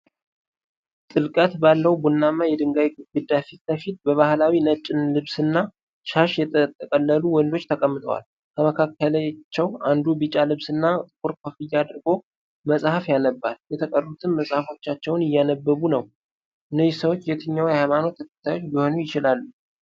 ጥልቀት ባለው ቡናማ የድንጋይ ግድግዳ ፊት ለፊት በባህላዊ ነጭ ልብስና ሻሽ የተጠቀለሉ ወንዶች ተቀምጠዋል። ከመካከላቸው አንዱ ቢጫ ልብስና ጥቁር ኮፍያ አድርጎ መጽሐፍ ያነባል፤ የተቀሩትም መጽሐፎቻቸውን እያነበቡ ነው፤ እነዚህ ሰዎች የየትኛው ሃይማኖት ተከታዮች ሊሆኑ ይችላሉ?